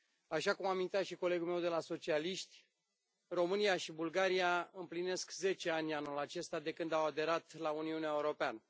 Așa cum amintea și colegul meu de la socialiști, România și Bulgaria împlinesc zece ani anul acesta de când au aderat la Uniunea Europeană.